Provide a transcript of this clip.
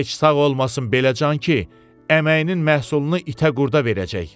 Heç sağ olmasın belə can ki, əməyinin məhsulunu itə-qurda verəcək.